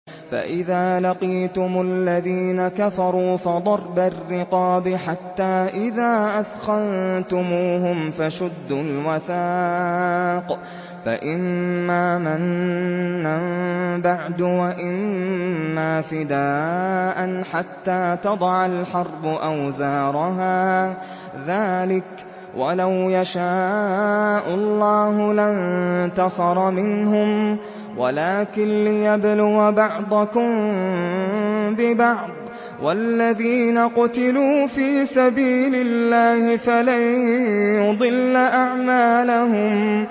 فَإِذَا لَقِيتُمُ الَّذِينَ كَفَرُوا فَضَرْبَ الرِّقَابِ حَتَّىٰ إِذَا أَثْخَنتُمُوهُمْ فَشُدُّوا الْوَثَاقَ فَإِمَّا مَنًّا بَعْدُ وَإِمَّا فِدَاءً حَتَّىٰ تَضَعَ الْحَرْبُ أَوْزَارَهَا ۚ ذَٰلِكَ وَلَوْ يَشَاءُ اللَّهُ لَانتَصَرَ مِنْهُمْ وَلَٰكِن لِّيَبْلُوَ بَعْضَكُم بِبَعْضٍ ۗ وَالَّذِينَ قُتِلُوا فِي سَبِيلِ اللَّهِ فَلَن يُضِلَّ أَعْمَالَهُمْ